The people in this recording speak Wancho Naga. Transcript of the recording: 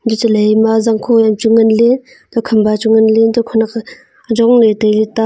athe chalai ma jankho an nganle khampa chu nganle khanak jongle taile ta.